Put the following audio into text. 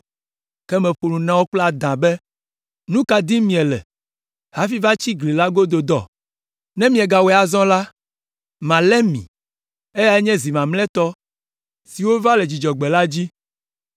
ke meƒo nu na wo kple adã be, “Nu ka dim miele hafi va tsi gli la godo dɔ? Ne miegawɔe azɔ la, malé mi.” Eyae nye zi mamlɛtɔ si wova le Dzudzɔgbe la dzi.